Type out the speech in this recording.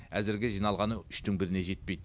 әзірге жиналғаны үштің біріне жетпейді